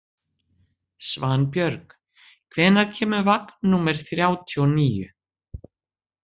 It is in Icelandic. Svanbjörg, hvenær kemur vagn númer þrjátíu og níu?